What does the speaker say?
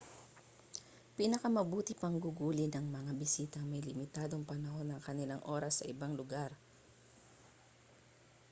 pinakamabuti pang gugulin ng mga bisitang may limitadong panahon ang kanilang oras sa ibang lugar